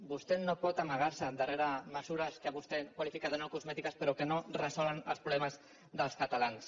vostè no pot amagarse darrere mesures que vostè qualifica de no cosmètiques però que no resolen els problemes dels catalans